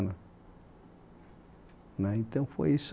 Mas então foi isso aí